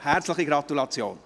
Herzliche Gratulation!